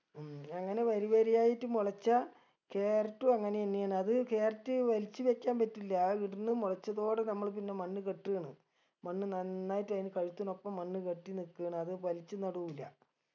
ഉം അങ്ങനെ വരിവരിയായിട്ട് മുളച്ച carrot ഉം അങ്ങനെയന്നെയാണ് അത് carrot വലിച്ച് വെച്ചാൻ പറ്റില് അഹ് ഇടുന്ന് മുളച്ചതോടെ നമ്മള് പിന്ന മണ്ണ് കെട്ട് ആണ് മണ്ണ് നന്നായിട്ട് അയിന് കഴുത്തിനൊപ്പം മണ്ണ് കെട്ടി നിക്കാണ് അത് വലിച്ച് നടൂല